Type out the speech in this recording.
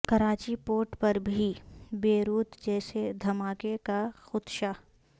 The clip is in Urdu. کراچی پورٹ پر بھی بیروت جیسے دھماکے کا خدشہ